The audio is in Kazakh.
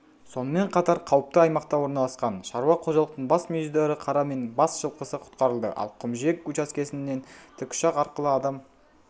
сонымен қатар қауіпті аймақта орналасқан шаруа қожалықтың бас мүйізді ірі қара мен бас жылқысы құтқарылды ал құмжиек учаскесіннен тікұшақ арқылы адам